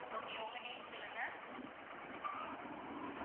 okay உங்க name சொல்லுங்க.